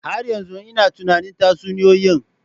Har yanzu ina tunanin tatsuniyoyi.